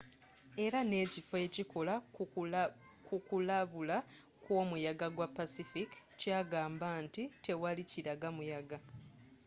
era nekifo ekikola ku kulabula kwomuyaga gwa pacific kyagamba nti tewali kilaga muyaga